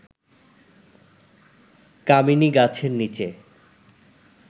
কামিনী গাছের নিচে